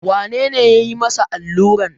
Wane ne ya yi masa alluran?